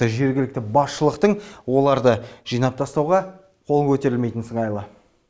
жергілікті басшылықтың оларды жинап тастауға қолы көтерілмейтін сыңайлы